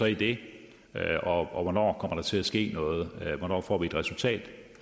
i det og hvornår kommer til at ske noget hvornår får vi et resultat